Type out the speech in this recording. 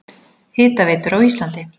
Hitaveitur á Íslandi